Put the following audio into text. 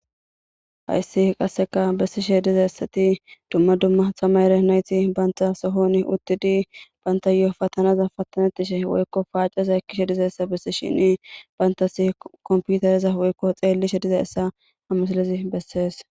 Hayssi qasseka bessishe dizaessati dumma dumma tamare nayti banta sohoni uttidi bantayoo patanaza pattanettishe woykko paaceza ekkishe diza essa bessi shini bayntasi komputareza woykko xeellishe diza essa ha misalizi bessees.